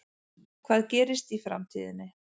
Hvað gerist í framtíðinni?